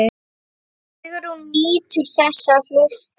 Sigrún nýtur þess að hlusta.